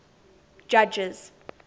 judges